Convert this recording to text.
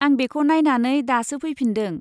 आं बेखौ नायनानै दासो फैफिनदों।